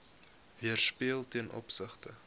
weerspieël ten opsigte